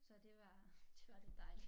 Så det var det var lidt dejligt